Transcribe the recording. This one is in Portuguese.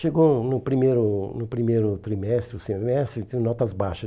Chegou no primeiro no primeiro trimestre, semestre, sem notas baixas.